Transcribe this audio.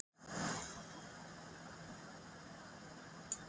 Hann sagði að dyrnar hefðu hrokkið upp og hann skyndilega staðið inni á miðju gólfi.